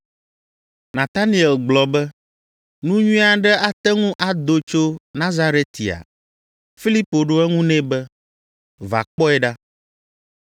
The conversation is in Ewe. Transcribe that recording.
Nataniel gblɔ be, “Nu nyui aɖe ate ŋu ado tso Nazaretia?” Filipo ɖo eŋu nɛ be, “Va kpɔe ɖa.”